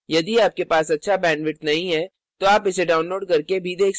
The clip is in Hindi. यदि आपके पास अच्छा bandwidth नहीं है तो आप इसे download करके देख सकते हैं